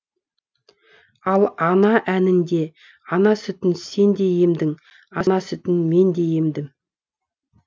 ал ана әнінде ана сүтін сен де емдің ана сүтін мен де емдім